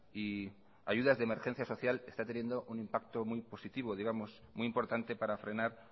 y ayudas de emergencia social están teniendo un impacto muy positivo muy importante para frenar